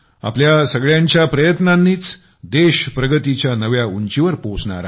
आपल्या सगळ्यांच्या प्रयत्नांनीच देश प्रगतीच्या नव्या उंचीवर पोहोचणार आहे